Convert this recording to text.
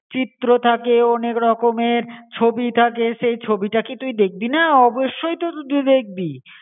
চিত্র থাকে অনেক রকম এর ছবি থাকে, সে ছবিটা কী তুই দেখবি না? অবশ্যই তো তুই দেখবি